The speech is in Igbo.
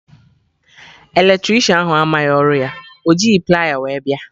Eletricịanahụ amaghị ọrụ ya, ọ jighị plier wee bịa